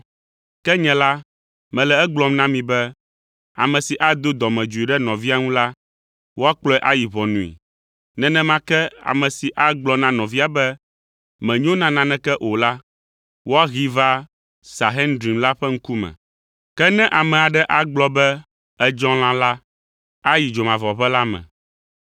Ke nye la, mele egblɔm na mi be, ame si ado dɔmedzoe ɖe nɔvia ŋu la, woakplɔe ayi ʋɔnui. Nenema ke ame si agblɔ na nɔvia be, ‘Mènyo na naneke o’ la, woahee va Sanhedrin la ƒe ŋkume. Ke ne ame aɖe agblɔ be, ‘Èdzɔ lã!’ la, ayi dzomavɔʋe la me.